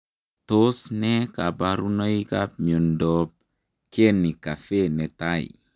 Tos nee kabarunoik ap miodondoop Kenny Caffey netai?